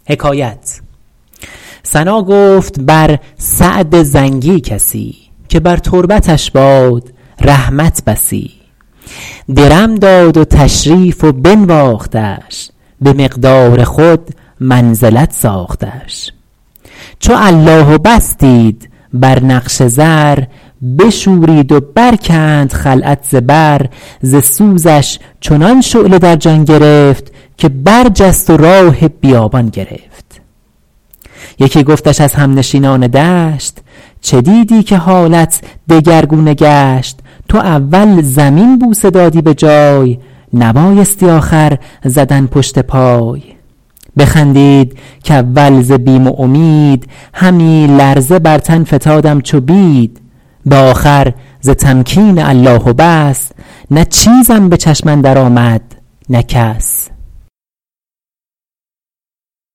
ثنا گفت بر سعد زنگی کسی که بر تربتش باد رحمت بسی درم داد و تشریف و بنواختش به مقدار خود منزلت ساختش چو الله و بس دید بر نقش زر بشورید و برکند خلعت ز بر ز سوزش چنان شعله در جان گرفت که برجست و راه بیابان گرفت یکی گفتش از همنشینان دشت چه دیدی که حالت دگرگونه گشت تو اول زمین بوسه دادی به جای نبایستی آخر زدن پشت پای بخندید کاول ز بیم و امید همی لرزه بر تن فتادم چو بید به آخر ز تمکین الله و بس نه چیزم به چشم اندر آمد نه کس به شهری در از شام غوغا فتاد گرفتند پیری مبارک نهاد هنوز آن حدیثم به گوش اندر است چو قیدش نهادند بر پای و دست که گفت ار نه سلطان اشارت کند که را زهره باشد که غارت کند بباید چنین دشمنی دوست داشت که می دانمش دوست بر من گماشت اگر عز و جاه است و گر ذل و قید من از حق شناسم نه از عمرو و زید ز علت مدار ای خردمند بیم چو داروی تلخت فرستد حکیم بخور هرچه آید ز دست حبیب نه بیمار داناتر است از طبیب